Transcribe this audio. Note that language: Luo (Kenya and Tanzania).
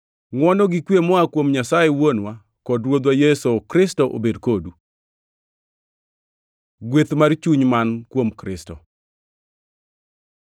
Ngʼwono gi kwe moa kuom Nyasaye Wuonwa kod Ruodhwa Yesu Kristo obed kodu. Gweth mar chuny man kuom Kristo